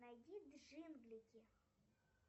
найди джинглики